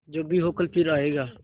जो भी हो कल फिर आएगा